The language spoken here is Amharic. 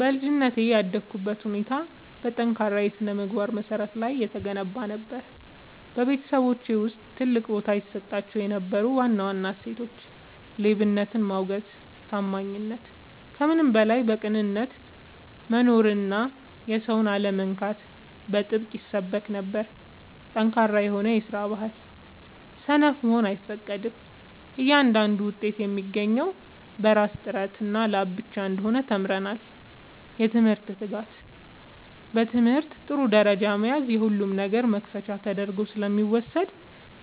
በልጅነቴ ያደግኩበት ሁኔታ በጠንካራ የሥነ-ምግባር መሠረት ላይ የተገነባ ነበር። በቤተሰባችን ውስጥ ትልቅ ቦታ ይሰጣቸው የነበሩ ዋና ዋና እሴቶች፦ ሌብነትን ማውገዝና ታማኝነት፦ ከምንም በላይ በቅንነት መኖርና የሰውን አለመንካት በጥብቅ ይሰበክ ነበር። ጠንካራ የስራ ባህል፦ ሰነፍ መሆን አይፈቀድም፤ እያንዳንዱ ውጤት የሚገኘው በራስ ጥረትና ላብ ብቻ እንደሆነ ተምረናል። የትምህርት ትጋት፦ በትምህርት ጥሩ ደረጃ መያዝ የሁሉም ነገር መክፈቻ ተደርጎ ስለሚወሰድ